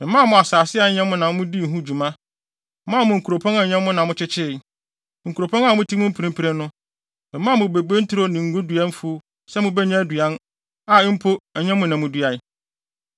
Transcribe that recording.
Memaa mo asase a ɛnyɛ mo na mudii ho dwuma, maa mo nkuropɔn a ɛnyɛ mo na mokyekyeree, nkuropɔn a mote mu mprempren no. Memaa mo bobe nturo ne ngodua mfuw sɛ mubenya aduan, a mpo ɛnyɛ mo na muduae.